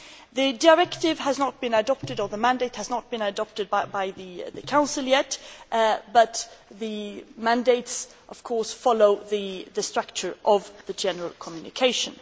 The directive has not been adopted, that is, the mandate has not been adopted by the Council yet, but the mandates, of course, follow the structure of the general communication.